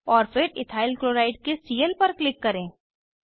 और फिर ethyl chloride के सीएल पर क्लिक करें